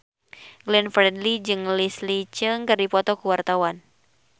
Glenn Fredly jeung Leslie Cheung keur dipoto ku wartawan